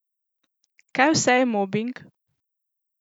Kaj vse je mobing?